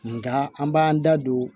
Nka an b'an da don